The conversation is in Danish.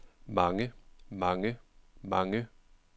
mange mange mange